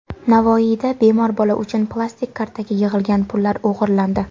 Navoiyda bemor bola uchun plastik kartaga yig‘ilgan pullar o‘g‘irlandi.